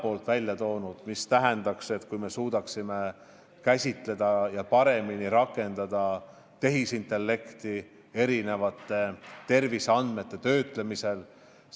Oleks näiteks väga hea, kui me suudaksime paremini rakendada tehisintellekti erinevate terviseandmete töötlemisel.